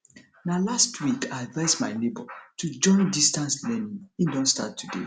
na last week i advice my nebor to join distance learning he don start today